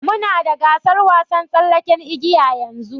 Muna da gasar wasan tsallaken igiya yanzu.